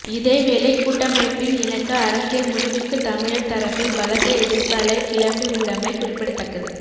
இதேவேளை கூட்டமைப்பின் இணக்க அரசியல் முடிவுக்கு தமிழர் தரப்பில் பலத்த எதிர்ப்பலை கிளம்பி உள்ளமை குறிப்பிடத்தக்கது